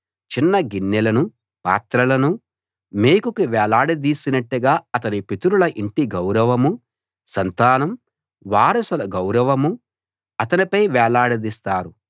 చిన్న గిన్నెలనూ పాత్రలనూ మేకుకి వేలాడదీసినట్టుగా అతని పితరుల ఇంటి గౌరవమూ సంతానం వారసుల గౌరవమూ అతనిపై వేలాడదీస్తారు